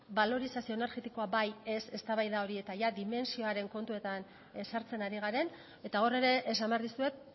balorizazio energetikoa bai ez eztabaida hori eta dimentsioaren kontuetan sartzen ari garen eta hor ere esan behar dizuet